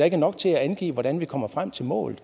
ikke nok til at angive hvordan vi kommer frem til mål